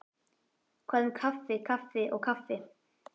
Hvað um kaffi kaffi og kaffi.